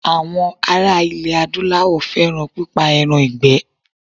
Àwọn ara ilẹ̀ Adúláwọ̀ fẹ́ràn pípa ẹran ìgbẹ́.